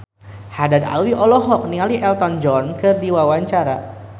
Haddad Alwi olohok ningali Elton John keur diwawancara